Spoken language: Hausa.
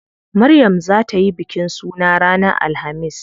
Maryam zaa tayi bikin suna ranar alhamis.